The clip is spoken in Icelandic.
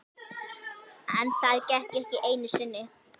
En það gekk ekki einu sinni.